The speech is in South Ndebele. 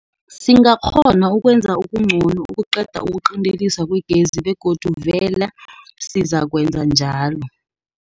Singakghona Ukwenza Okungcono Ukuqeda Ukuqinteliswa Kwegezi Begodu Vele Sizakwenza Njalo